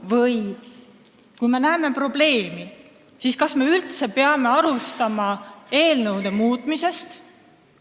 Või kui me näeme probleemi, siis kas me üldse peame alustama eelnõude muutmisest?